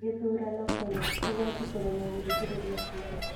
Gĩthurano Kenya: Igooti kũremwo gũthikĩrĩria cira